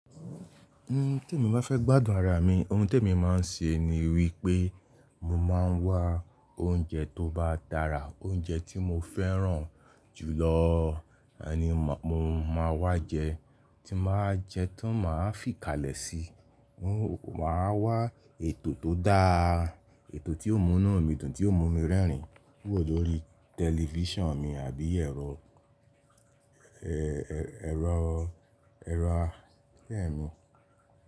Ohun tí èmi báa fẹ́ gbádùn ara mi, ohun tí èmi máa ń ṣe ni wípé mo máa ń wá oúnjẹ tó bá dára, oúnjẹ tí mo fẹ́ràn jù lọ ni mo máa wá jẹ, tín báa wa jẹ, tan máa fìkálẹ̀ sí i. Máa wá ètò tó dáa, ètò tí ó múnu mi dùn, tí ó mú mi rẹ́rìn wò lórí tẹlifíṣàn mi àbí ẹ̀rọ, ẹ-ẹ́-ẹ̀rọ, ẹ̀rọ àfẹ́ mi.